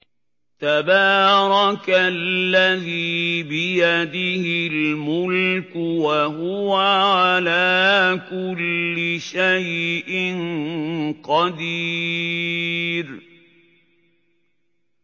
تَبَارَكَ الَّذِي بِيَدِهِ الْمُلْكُ وَهُوَ عَلَىٰ كُلِّ شَيْءٍ قَدِيرٌ